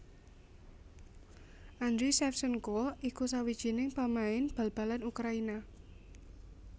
Andriy Shevchenko iku sawijining pamain bal balan Ukraina